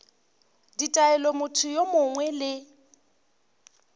ditaelo motho yo mongwe le